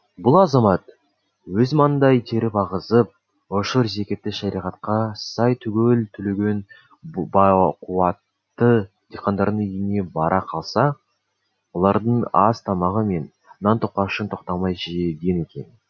бұл азамат өз маңдай терін ағызып ұшыр зекетті шариғатқа сай түгел төлеген байқуатты диқандардың үйіне бара қалса олардың ас тамағы мен нан тоқашын тоқтамай жеген екен